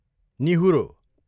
निहुरो